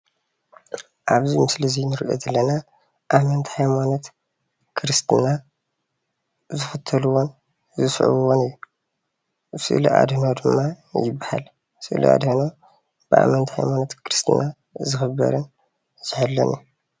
ኣብዚ ምስሊ እዚ እንሪኦ ዘለና ኣመንቲ ሃይማኖት ክርስትና ዝክተልዎን ዝስዕብዎን እዩ፡፡ ስእሊ ኣድህኖ ድማ ይባሃል፡፡ ስእሊ ኣድህኖ ብኣመንቲ ሃይማኖት ክርስትና ዝክበርን ዝሕሎን እዩ፡፡